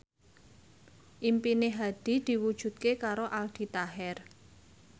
impine Hadi diwujudke karo Aldi Taher